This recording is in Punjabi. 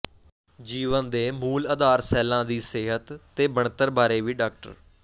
ਜੀਵਨ ਦੇ ਮੂਲ ਆਧਾਰ ਸੈੱਲਾਂ ਦੀ ਸਿਹਤ ਤੇ ਬਣਤਰ ਬਾਰੇ ਵੀ ਡਾ